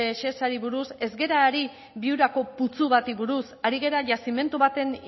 shesari buruz ez gara ari viurako putzu bati buruz ari gara yazimendu baten